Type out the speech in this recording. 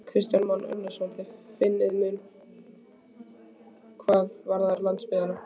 Kristján Már Unnarsson: Þið finnið mun hvað varðar landsbyggðina?